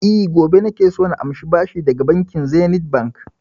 E, gobe nake so na amshi bashi daga Zenith Bank.